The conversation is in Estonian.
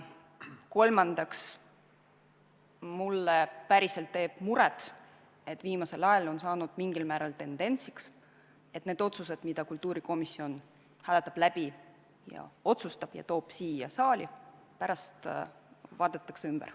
Kolmandaks, mulle teeb päriselt muret, et viimasel ajal on saanud mingil määral tendentsiks, et need otsused, mille kultuurikomisjon hääletab läbi ja otsustab ja toob siia saali, pärast vaadatakse ümber.